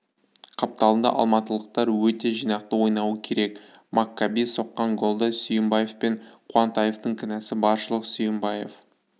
қапталында алматылықтар өте жинақы ойнауы керек маккаби соққан голда сүйімбаев пен қуантаевтың кінәсі баршылық сүйімбаев